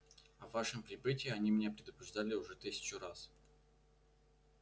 о вашем прибытии они меня предупреждали уже тысячу раз